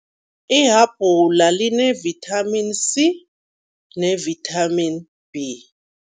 Ihabhula line-Vitamin C ne-Vitamin B.